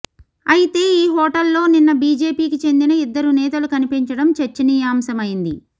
అయితే ఈ హోటల్లో నిన్న బీజేపీకి చెందిన ఇద్దరు నేతలు కనిపించడం చర్చనీయాంశమైంది